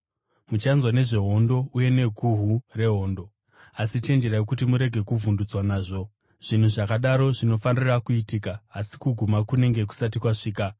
Muchanzwa nezvehondo uye neguhu rehondo, asi chenjerai kuti murege kuvhundutswa nazvo. Zvinhu zvakadaro zvinofanira kuitika asi kuguma kunenge kusati kwasvika.